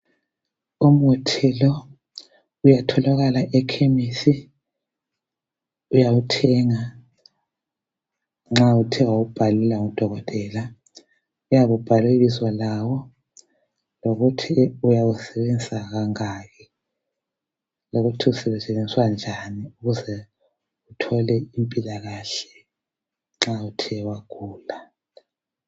Umuthi lo uyatholakala ekhemisi uyawuthenga nxa Uthe wabhalelwa ngudokotela. Uyabe ubhalwe ibizo lawo lokuthi uyawusebenzisa kangaki lokuthi usetshenziswa njani uze uthole impilakahle nxa Uthe wagula